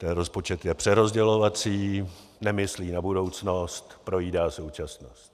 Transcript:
Ten rozpočet je přerozdělovací, nemyslí na budoucnost, projídá současnost.